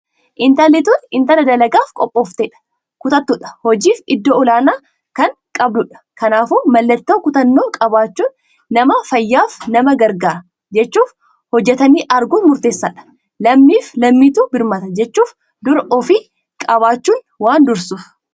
Intalli tun intalaa dalagaaf qophooftedha. Kutattuudha hojiif iddoo ol'aanaa tan qabduudha. Kanaafuu mallattoo kutannoo qabaachun nama fayyafa nama gargaaraa jechuuf hojjatanij arguun murteessadha. Lammiif lammitu birmata jechuuf dura ufii qabaachunuu waan dursuuf.